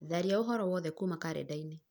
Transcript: tharia ũhoro wothe kuuma karenda-inĩ